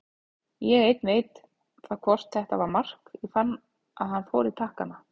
Ég einn veit það hvort þetta var mark, ég fann að hann fór í takkana.